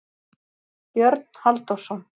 Björn Halldórsson.